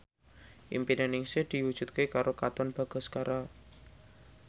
impine Ningsih diwujudke karo Katon Bagaskara